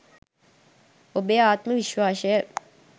ඔබේ ආත්ම විශ්වාසය